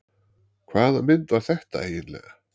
Hvaða mynd var þetta eiginlega?